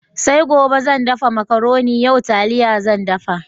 Sai gobe zan dafa Makaronin, yau taliya zan dafa.